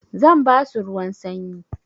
Zan basu ruwan sanyi.